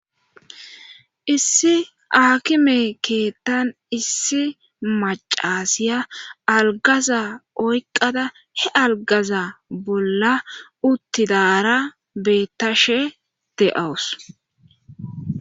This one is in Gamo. Issi aakime keettan issi macasiya algaza oyqada he algaza bolla uttidara beettashe de7awus